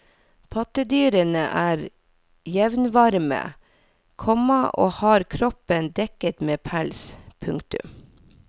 Pattedyrene er jevnvarme, komma og har kroppen dekket med pels. punktum